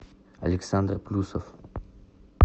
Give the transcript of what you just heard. александр плюсов